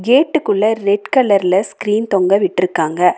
கேட்டுக்குள்ள red கலர்ல screen தொங்க விட்டிருக்காங்க.